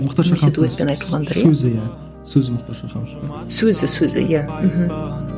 мұхтар шахановтікі сөзі иә сөзі мұхтар шахановтікі сөзі сөзі иә мхм